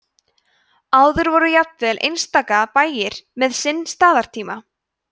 áður voru jafnvel einstaka bæir með sinn staðartíma